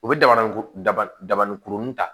U bɛ daba daba dabani kurunin ta